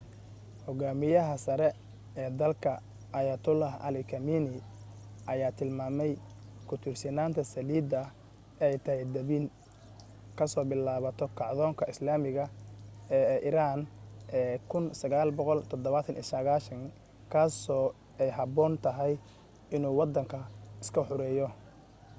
hogaamiyaha sare ee dalka ayatollah ali khamenei ayaa tilmaamay ku tiirsanaanta saliida ay tahay dabin kasoo bilaabato kacdoonka islaamiga ee iran ee 1979 kaasoo ay haboon tahay inuu wadanka iska xoreeyo